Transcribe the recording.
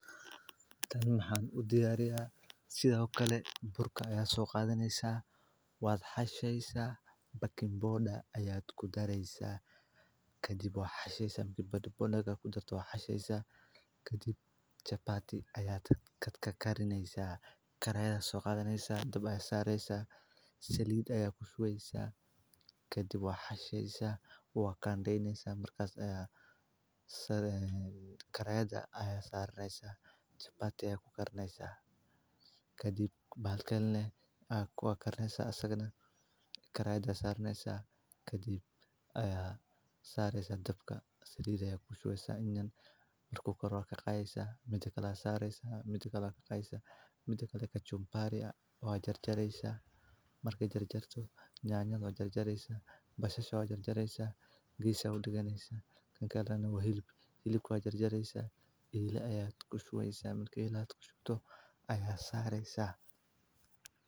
Diyaarinta cuntadu waa hawl maalinle ah oo muhiim u ah oo baking powder nolosha bini’aadamka, maadaama ay jirku u baahan yahay nafaqo joogto ah. Si cunto loo diyaariyo, waxaa ugu horreeya in la doorto nooca cunto ee la doonayo, sida bariis, baasto, hilib, khudaar ama fuul. Marka laga doorto, tallaabada xigta waa in la soo ururiyo dhammaan agabka iyo maaddooyinka loo baahan yahay. Cuntada ka hor, waa muhiim in la nadiifiyo dhammaan wixii la karinayo, gaar ahaan khudaarta iyo hilibka. Kadib waxaa la diyaariyaa qalabka karinta sida digsiyada, foornooyinka ama gas-ka.